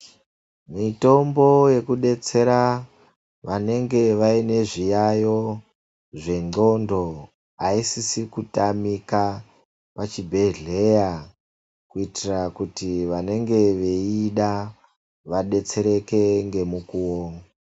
Mitombo yekubetsera vanenge vane zvirwere zviyaiyo zvenxondo haisi kutamika pachibhehlera kuitira kuti vanenge veiida vadetsereke ngemukuwo.